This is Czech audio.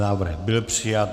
Návrh byl přijat.